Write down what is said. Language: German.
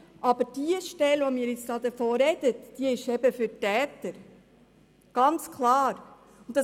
Aber die Stelle, von der wir jetzt sprechen, ist ganz klar für die Täter.